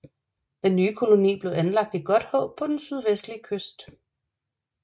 Den nye koloni blev anlagt i Godthåb på den sydvestlige kyst